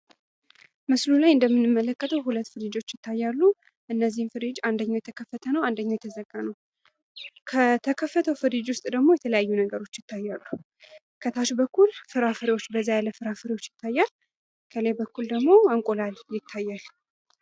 ምስሉ ላይ እንደምንመለከተው ሁለት ፍሪጆች ይታያሉ። እነዚህ ፍሪጆች አንደኛው የተዘጋ ነው። አንደኛው የተከፈተ ነው። ከተፈተው ፍሪጅ ውስጥ ደግሞ የተለያዩ ነገሮች ይታያሉ። ከታች በኩል በዛ ያሉ ፍራፍሬዎች ይታያል። ከላይ በኩል እንቁላል ይታያል።